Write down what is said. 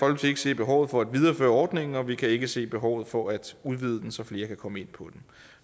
ikke se behovet for at videreføre ordningen og vi kan ikke se behovet for at udvide den så flere kan komme ind på den